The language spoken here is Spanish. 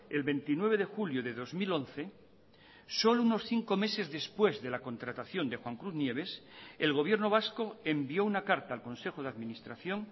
el veintinueve de julio de dos mil once solo unos cinco meses después de la contratación de juan cruz nieves el gobierno vasco envió una carta al consejo de administración